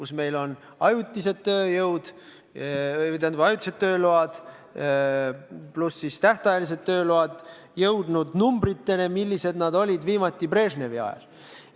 Sellega seoses on meil ajutised tööload pluss tähtajalised tööload jõudnud hulgani, mida võis viimati täheldada Brežnevi ajal.